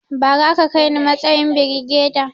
Bara a ka kaini matsayin birigeda